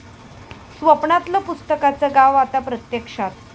स्वप्नातलं पुस्तकांचं गाव आता प्रत्यक्षात...!